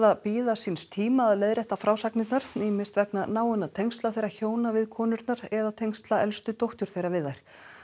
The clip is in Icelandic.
að bíða síns tíma að leiðrétta frásagnirnar ýmist vegna náinna tengsla þeirra hjóna við konurnar eða tengsla elstu dóttur þeirra við þær